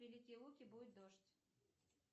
великие луки будет дождь